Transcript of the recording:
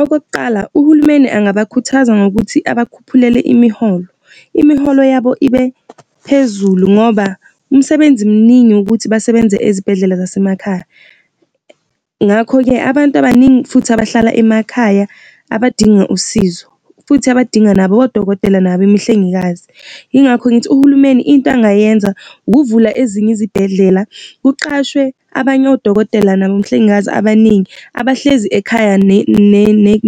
Okokuqala, uhulumeni engabakhuthaza ngokuthi abakhuphulele imiholo. Imiholo yabo ibe phezulu ngoba umsebenzi muningi ukuthi basebenze ezibhedlela zasemakhaya. Ngakho-ke abantu abaningi futhi abahlala emakhaya abadinga usizo, futhi abadinga nabo odokotela nabemihlengikazi. Yingakho ngithi uhulumeni into angayenza, ukuvula ezinye izibhedlela kuqashwe abanye odokotela nabahlengikazi abaningi abahlezi ekhaya